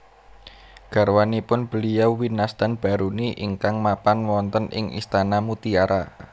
Garwanipun Beliau winastan Baruni ingkang mapan wonten ing istana mutiara